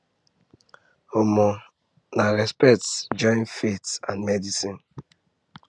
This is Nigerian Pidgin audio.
um na respect join faith and medicine